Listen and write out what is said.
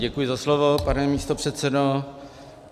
Děkuji za slovo, pane místopředsedo.